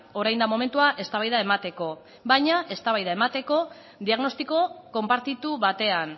orain da momentua eztabaida emateko baina eztabaida emateko diagnostiko konpartitu batean